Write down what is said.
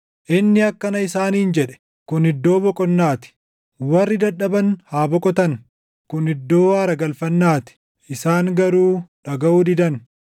inni akkana isaaniin jedhe; “Kun iddoo boqonnaa ti; warri dadhaban haa boqotan; kun iddoo aara galfannaa ti.” Isaan garuu dhagaʼuu didan.